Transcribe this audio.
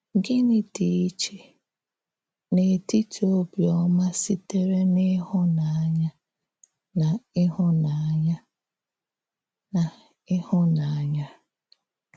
Gịnị dị iche n’ètìtì òbíọ́má sị̀tèrè n’íhụ̀nànyà na íhụ̀nànyà? na íhụ̀nànyà?